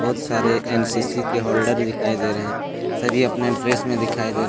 सारे एन_सी_सी के होल्डर दिखाई दे रहे हैं सभी अपने ड्रेस में दिखाई दे रहे हैं।